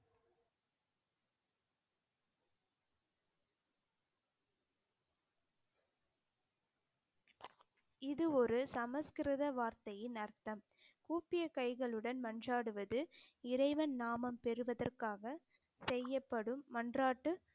இது ஒரு சமஸ்கிருத வார்த்தையின் அர்த்தம் கூப்பிய கைகளுடன் மன்றாடுவது இறைவன் நாமம் பெறுவதற்காக செய்யப்படும் மன்றாட்டு